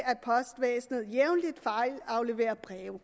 postvæsenet jævnligt fejlafleverer breve